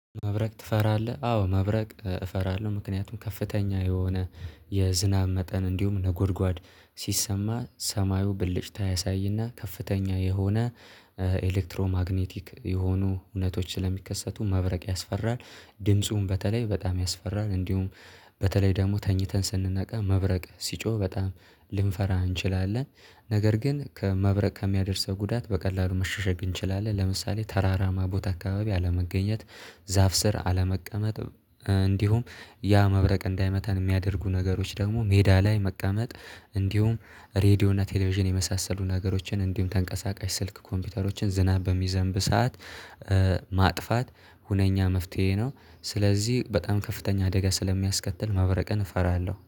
መብረቅ ትፈራለህ? አዎ መብረቅ እፈራለሁ። ምክንያቱም ከፍተኛ የሆነ የዝናብ መጠን እንዲሁም ነጎድጓድ ሲሰማ ሰማዩ ብልጭት አያሳይና ከፍተኛ የሆነ ኤሌክትሮማግኔቲክ የሆኑ እውነቶች ስለሚከሰቱ መብረቅ ያስፈራል። ድምፁን በተለይ በጣም ያስፈራል። እንዲሁም በተለይ ደግሞ ተኝተን ስንነቃ መብረቅ ሲጮህ በጣም ልንፈራ እንችላለን። ነገር ግን ከመብረቅ ከሚያደርሰው ጉዳት በቀላሉ መሸሸግ እንችላለን። ለምሳሌ ተራራማ ቦታ አካባቢ አለመገኘት። ዛፍ ስር አለመቀመጥ እንዲሁም ያ መብረቅ እንዳይመተን የሚያደርጉ ነገሮች ደግሞ ሜዳ ላይ መቀመጥ። እንዲሁም ሬድዮ እና ቴሌቪዥን የመሳሰሉ ነገሮችን እንዲሁም ተንቀሳቃሽ ስልክ ኮምፒውተሮችን ዝናብ በሚዘንብ ሰዓት ማጥፋት ሁነኛ መፍትሄ ነው። ስለዚህ በጣም ከፍተኛ አደጋ ስለሚያስከትል ማብረቅን እፈራለሁ